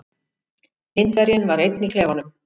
Indverjinn var einn í klefanum.